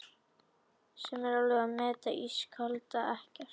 sem alveg að meta þetta ískalda EKKERT, en verð þó að við